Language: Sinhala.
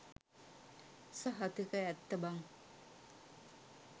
සහතික ඇත්ත බන්